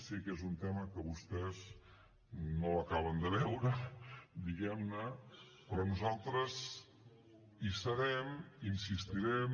sé que és un tema que vostès no l’acaben de veure diguem ne però nosaltres hi serem hi insistirem